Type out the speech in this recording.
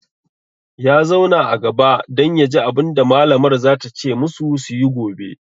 Ya zauna a gaba dan yaji abunda malamar za ta ce musu suyi gobe